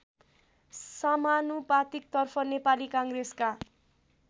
समानुपातिकतर्फ नेपाली काङ्ग्रेसका